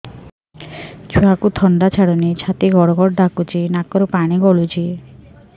ଛୁଆକୁ ଥଣ୍ଡା ଛାଡୁନି ଛାତି ଗଡ୍ ଗଡ୍ ଡାକୁଚି ନାକରୁ ପାଣି ଗଳୁଚି